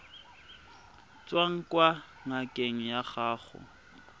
tswang kwa ngakeng ya gago